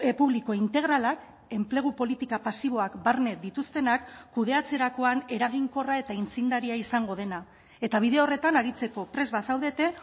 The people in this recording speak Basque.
publiko integralak enplegu politika pasiboak barne dituztenak kudeatzerakoan eraginkorra eta aitzindaria izango dena eta bide horretan aritzeko prest bazaudete